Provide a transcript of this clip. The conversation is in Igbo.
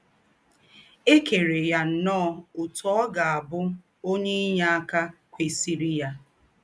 È kèrè yà nnọọ òtú ọ̀ gà - àbù̄ ǒnyé ínyéàkà kwesírí yà.